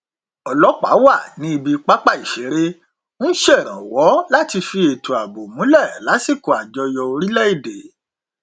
ọlọpàá wà ní ibi pápá ìṣeré n ṣèrànwọ láti fi ètò ààbò múlẹ lásìkò àjọyọ orílẹ èdè